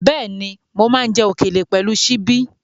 Bẹ́ẹ̀ni, mo máa ń jẹ òkèlè pẹ̀lú ṣíbí.